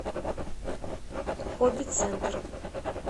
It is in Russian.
хобби центр